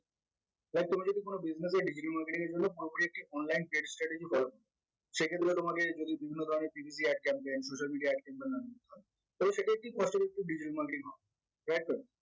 তোমরা যদি কোনো business এ digital marketing এর জন্য online সেক্ষেত্রে তোমাকে যদি বিভিন্ন ধরনের ad campaign social media ad campaign তো সেটা একটি cost effective digital marketing হবে